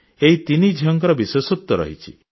ଏହି ତିନି ଝିଅଙ୍କର ବିଶେଷତ୍ୱ ରହିଛି